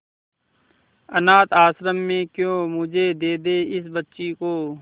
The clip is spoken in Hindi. अनाथ आश्रम में क्यों मुझे दे दे इस बच्ची को